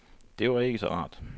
Det var ikke så rart.